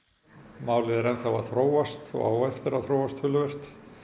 málið er enn þá að þróast og á eftir að þróast töluvert